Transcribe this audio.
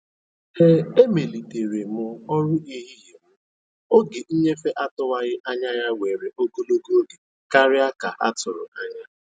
E emelitere m ọrụ ehihie m oge nnyefe atụwaghị anya ya were ogologo oge karịa ka a tụrụ anya.